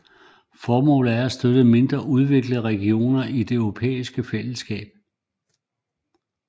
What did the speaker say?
Formålet er at støtte mindre udviklede regioner i det europæiske fællesskab